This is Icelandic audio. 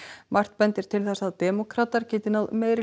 margt bendir til þess að demókratar geti náð meirihluta